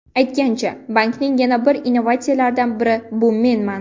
Aytgancha, bankning yana bir innovatsiyalaridan biri bu menman!